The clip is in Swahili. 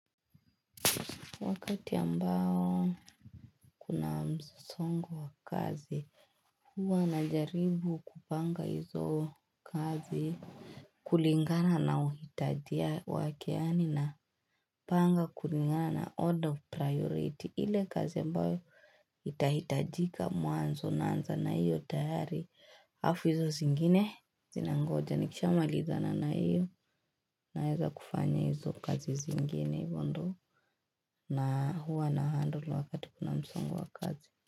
Wakati ambayo kuna msongo wa kazi huwa na jaribu kupanga hizo kazi kulingana na uhitajia wake yani na panga kulingana na order of priority ile kazi ambayo itahitajika muanzo na anza na iyo tayari hafu hizo zingine zinangoja nikisha malizana na iyo naeza kufanya hizo kazi zingine bado na huwa na handle wakati kuna msongo wa kazi.